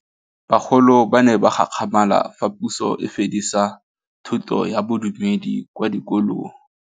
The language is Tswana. Bagolo ba ne ba gakgamala fa Pusô e fedisa thutô ya Bodumedi kwa dikolong.